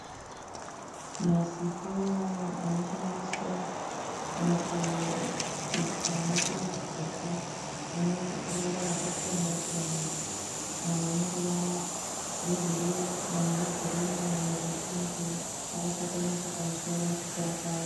Masipunu anoshandiswa mukubika nemukubheka ane ruvara rwakasiyana siyana. Mamwe ane ruvara rwebhuruu mamwe egirinhi amwe zvepingi. Akakataniswa pamusoro nekukura kwawo.